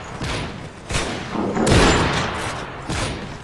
калтану